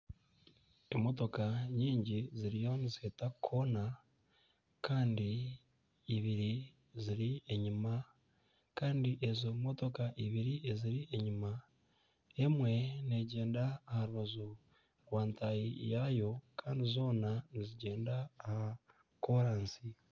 Emotoka nyingi ziriyo niheeta nkoona kandi ibiri ziri enyima kandi ezo motoka ibiri eziri enyima, emwe neegyenda aha rubaju rwa ntaahi yaayo kandi zoona nizigyenda aha koorasi